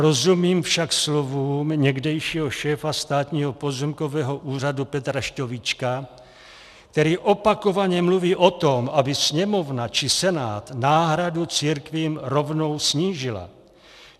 Rozumím však slovům někdejšího šéfa Státního pozemkového úřadu Petra Šťovíčka, který opakovaně mluví o tom, aby Sněmovna či Senát náhradu církvím rovnou snížily.